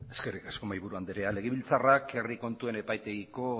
eskerrik asko mahaiburu andrea legebiltzarrak herri kontuen epaitegiko